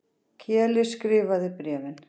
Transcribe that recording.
Keli skrifaði bréfin.